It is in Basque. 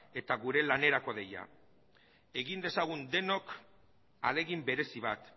eta gure lanerako deia egin dezagun denok ahalegin berezi bat